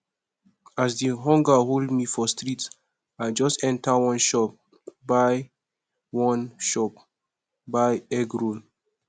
as di hunger hold me for street i just enta one shop buy one shop buy egg roll